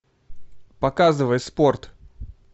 показывай спорт